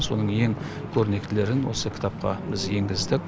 соның ең көрнектілерін осы кітапқа біз енгіздік